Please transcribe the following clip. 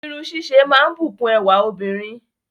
Irun ṣíṣe máa ń bùkún ẹwà obìnrin